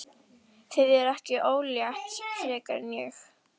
Þið eruð ekki ólétt frekar en ég!